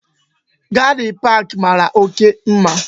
Garde park mara oke mma